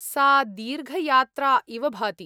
सा दीर्घयात्रा इव भाति।